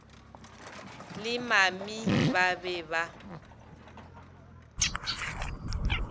le mami ba be ba